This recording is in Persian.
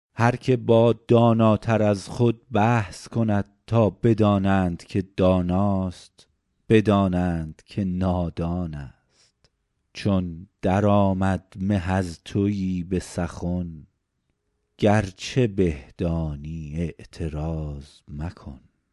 هر که با داناتر از خود بحث کند تا بدانند که داناست بدانند که نادان است چون در آید مه از تویی به سخن گرچه به دانی اعتراض مکن